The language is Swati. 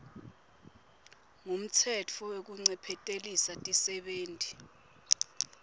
ngumtsetfo wekuncephetelisa tisebenti